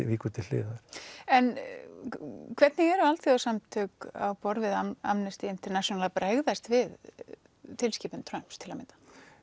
víkur til hliðar en hvernig eru alþjóðasamtök á borð við Amnesty International að bregðast við tilskipun Trumps til að mynda